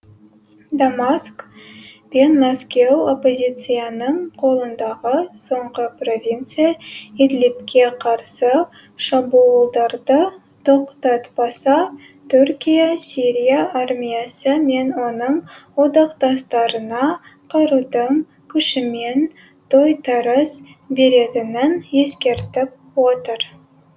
дамаск пен мәскеу оппозицияның қолындағы соңғы провинция идлибке қарсы шабуылдарды тоқтатпаса түркия сирия армиясы мен оның одақтастарына қарудың күшімен тойтарыс беретінін ескертіп отыр